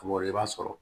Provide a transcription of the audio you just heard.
O yɔrɔ i b'a sɔrɔ